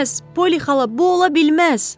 Polli xala, bu ola bilməz!